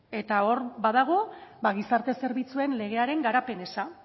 eta hor badago gizarte zerbitzuen legearen garapen eza